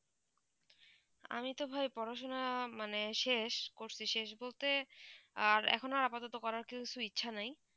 আমি তো ভাই পড়াশোনা মানে শেষ করছি শেষ বলতে আর এখন আর আপাতত করার কিছু ইচ্ছা নাই